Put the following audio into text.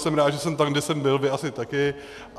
Jsem rád, že jsem tam, kde jsem byl, vy asi také.